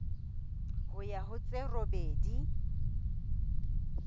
ho ya ho tse robedi